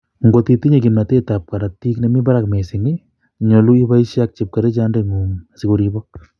Kot itinye kimtotet ab korotik nemi barak missing nyolu oboisie ak chepkerichot ndeng'ung asikoribok